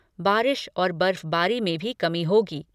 बारिश और बर्फबारी में भी कमी होगी।